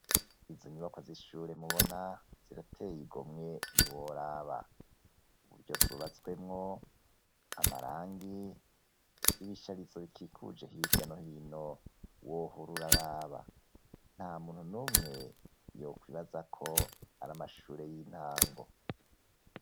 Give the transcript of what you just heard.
Izo nyubako z'ishure mubona zirateye igomwe ntiworaba, uburyo zubatswemwo amarangi n'ibisharizo bikikuje hirya no hino wohora uraraba, nta muntu numwe yokwibibazako ari amashure y'intango.